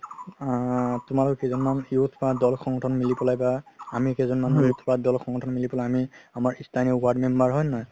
আ তুমাৰ কেইজন মান youth বা দল সংগঠন মিলি পেলাই বা আমি কেইজন মান youth বা দল সংগঠন মিলি পেলাই বা আমি স্থানীয় ward number হয় নে নহয়